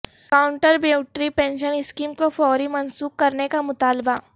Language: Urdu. کانٹریبیوٹری پنشن اسکیم کو فوری منسوخ کرنے کا مطالبہ